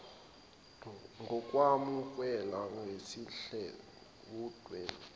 ngokwamukela ngesihle wumndeni